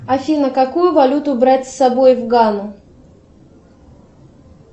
афина какую валюту брать с собой в гану